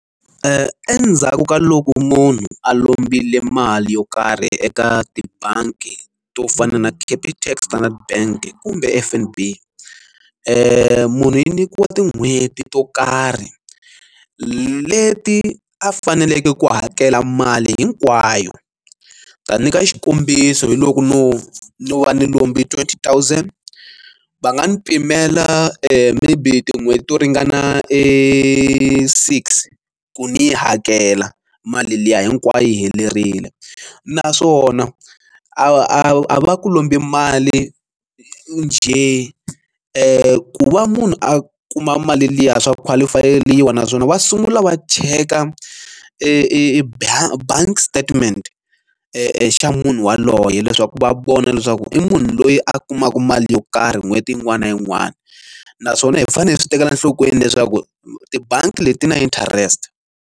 Endzhaku ka loko munhu a lombile mali yo karhi eka tibangi to fana na Capitec Standard bank kumbe F_N_B munhu yi nyikiwa tin'hweti to karhi leti a faneleke ku hakela mali hinkwayo ta nyika xikombiso hi loko no no va ni lombi twenty thousand va nga n'wi pimela maybe tin'hweti to ringana e six ku ni hakela mali liya hinkwayo yi helerile naswona a va ku lombi mali njhe ku va munhu a kuma mali liya swa qualify yeriwa naswona va sungula va cheka eka e bank bank statement e xa munhu yaloye leswaku va vona leswaku i munhu loyi a kumaka mali yo karhi n'hweti yin'wana na yin'wana naswona hi fanele hi swi tekela enhlokweni leswaku tibangi leti na interest.